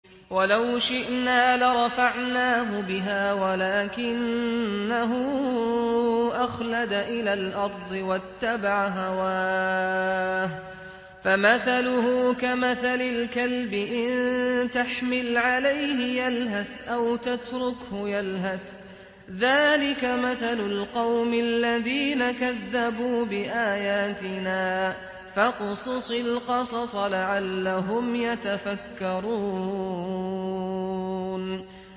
وَلَوْ شِئْنَا لَرَفَعْنَاهُ بِهَا وَلَٰكِنَّهُ أَخْلَدَ إِلَى الْأَرْضِ وَاتَّبَعَ هَوَاهُ ۚ فَمَثَلُهُ كَمَثَلِ الْكَلْبِ إِن تَحْمِلْ عَلَيْهِ يَلْهَثْ أَوْ تَتْرُكْهُ يَلْهَث ۚ ذَّٰلِكَ مَثَلُ الْقَوْمِ الَّذِينَ كَذَّبُوا بِآيَاتِنَا ۚ فَاقْصُصِ الْقَصَصَ لَعَلَّهُمْ يَتَفَكَّرُونَ